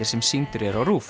sem sýndir eru á